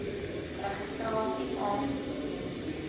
registrasie aansoek doen